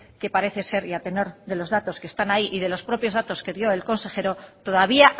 que parece ser y a tenor de los datos que están ahí y de los propios datos que dio el consejero todavía